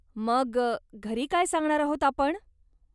मग, घरी काय सांगणार आहोत आपण?